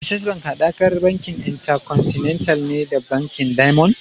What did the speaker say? Access bank hadakar bankin Intercontinental ne da bankin Diamond.